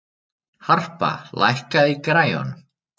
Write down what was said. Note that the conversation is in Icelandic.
Harpa, lækkaðu í græjunum.